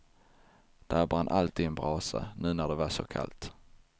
Där brann alltid en brasa, nu när det var så kallt.